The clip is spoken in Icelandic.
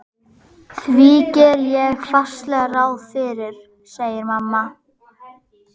Því geri ég fastlega ráð fyrir, segir mamma.